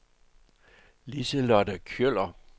Liselotte Kjøller